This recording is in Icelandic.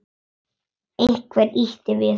Einhver ýtir við honum.